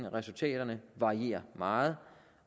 resultaterne varierer meget